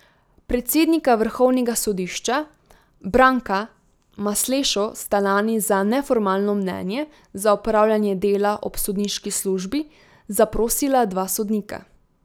Predsednika vrhovnega sodišča Branka Maslešo sta lani za neformalno mnenje za opravljanje dela ob sodniški službi zaprosila dva sodnika.